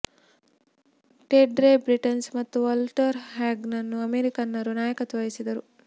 Ted Ray Britons ಮತ್ತು Walter ಹ್ಯಾಗನ್ರನ್ನು ಅಮೆರಿಕನ್ನರು ನಾಯಕತ್ವ ವಹಿಸಿದರು